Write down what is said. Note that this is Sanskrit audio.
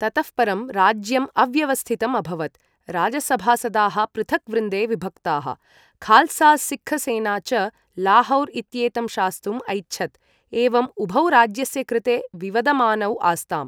ततः परं राज्यम् अव्यवस्थितम् अभवत्, राजसभासदाः पृथक् वृन्दे विभक्ताः, खाल्सा सिक्ख सेना च लाहौर् इत्येतं शास्तुम् ऐच्छत्, एवम् उभौ राज्यस्य कृते विवदमानौ आस्ताम्।